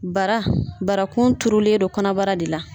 Bara barakun turulen do kɔnɔbara de la.